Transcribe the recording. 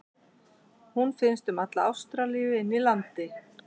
Hún finnst um alla Ástralíu inni í landi.